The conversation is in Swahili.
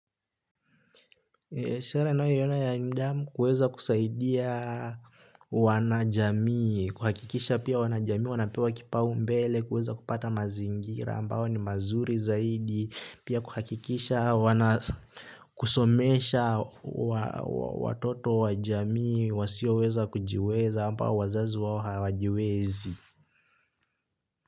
Shere nae yona ya indiamu kweza kusaidia wanajamii, kuhakikisha pia wanajamii, wanapewa kipau mbele, kweza kupata mazingira, ambao ni mazuri zaidi, pia kuhakikisha, kusomesha watoto wajamii, wasio weza kujiweza, ambao wazazi wao hawajiwezi.